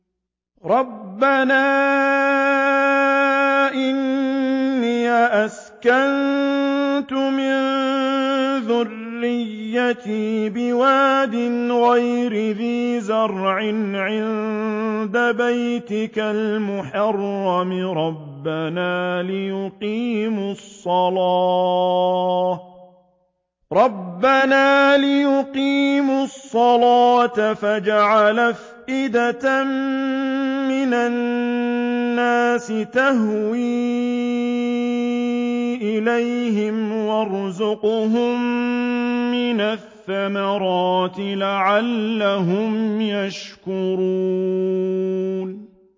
رَّبَّنَا إِنِّي أَسْكَنتُ مِن ذُرِّيَّتِي بِوَادٍ غَيْرِ ذِي زَرْعٍ عِندَ بَيْتِكَ الْمُحَرَّمِ رَبَّنَا لِيُقِيمُوا الصَّلَاةَ فَاجْعَلْ أَفْئِدَةً مِّنَ النَّاسِ تَهْوِي إِلَيْهِمْ وَارْزُقْهُم مِّنَ الثَّمَرَاتِ لَعَلَّهُمْ يَشْكُرُونَ